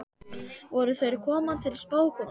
Voru þær að koma til spákonunnar?